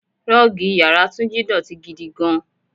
Rọ́ọ́gì ìyára Túnjí dọ̀tí gidi gan-an.